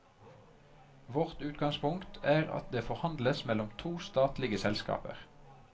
Vårt utgangspunkt er at det forhandles mellom to statlige selskaper.